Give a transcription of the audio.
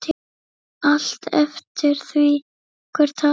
Allt eftir því hver talar.